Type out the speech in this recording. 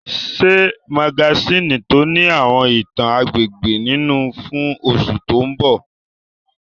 Ṣe magasíìnì tó ní àwọn ìtàn agbègbè nínú fún oṣù tó mbọ̀!